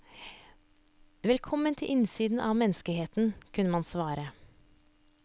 Velkommen til innsiden av menneskeheten, kunne man svare.